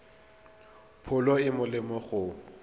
pholo e e molemo go